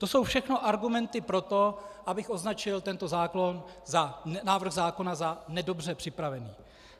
To jsou všechno argumenty pro to, abych označil tento návrh zákona za nedobře připravený.